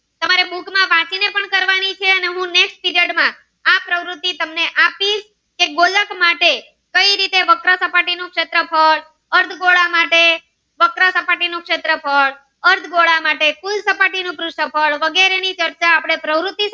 પ્રવૃત્તિ તમને આપી એક ગોલક માટે કઈ રીતે વક્રસપાટી નું શેત્રફ્ળ અર્ધ ગોળ માટે વક્રસપાટી નું શેત્રફ્ળ અર્ધ ગોળ માટે કુલ સપાટી ન ઉ શેત્રફ્ળ વગેરે ની ચર્ચા આપડે.